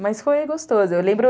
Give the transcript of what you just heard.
Mas foi gostoso, eu lembro